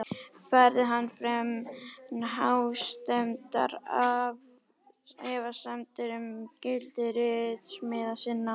Færði hann fram hástemmdar efasemdir um gildi ritsmíða sinna.